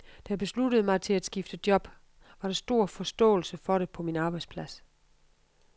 Da jeg besluttede mig til at skifte job, var der stor forståelse for det på min arbejdsplads.